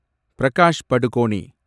Prakash Padukone